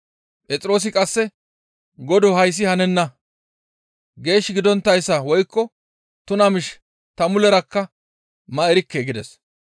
Phexroosi qasse, «Godoo hayssi hanenna! Geesh gidonttayssa woykko tuna miish ta mulerakka ma erikke» gides.